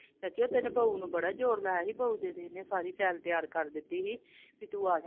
ਅੱਛਾ ਤੇਰੀ ਬਹੁ ਨੂੰ ਬੜਾ ਜ਼ੋਰ ਲਾਇਆ ਸੀ ਬਹੁ ਦੀ ਤਾਂ ਇਹਨੇ ਸਾਰੀ file ਤਿਆਰ ਕਰ ਦਿੱਤੀ ਸੀ, ਵੀ ਤੂੰ ਆਜਾ I